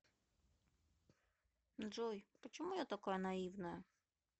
джой почему я такая наивная